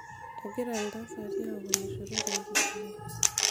egira iltasati aok oloshoro tenkijiko